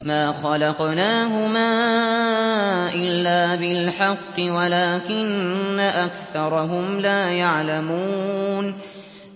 مَا خَلَقْنَاهُمَا إِلَّا بِالْحَقِّ وَلَٰكِنَّ أَكْثَرَهُمْ لَا يَعْلَمُونَ